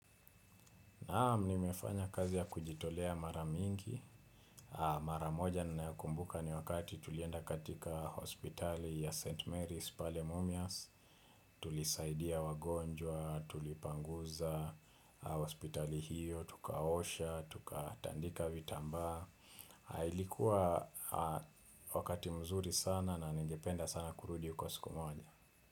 Naam nimefanya kazi ya kujitolea mara mingi, mara moja ninayo kumbuka ni wakati tulienda katika hospitali ya St. Mary's. Pale mumias, tulisaidia wagonjwa, tulipanguza, hospitali hiyo, tukaosha, tukatandika vitambaa, ilikuwa wakati mzuri sana na ningependa sana kurudi huko siku moja.